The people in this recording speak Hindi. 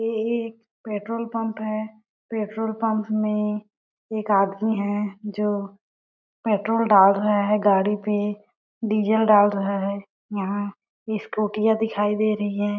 यह एक पेट्रोल पंप है पेट्रोल पंप में एक आदमी है जो पेट्रोल डाल रहा है गाड़ी पे डीजल डाल रहा है यहाँ स्कूटीया दिखई दे रही है।